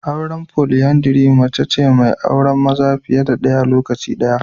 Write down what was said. Auren foliandri mace ce mai auren maza fiye da ɗaya a lokaci guda.